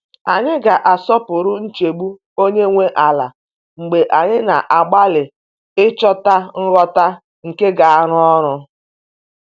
Anyị ga-asọpụrụ nchegbu onye nwe ala mgbe anyị na-agbalị ịchọta ngwọta nke ga-arụ ọrụ.